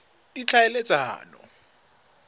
ditlhaeletsano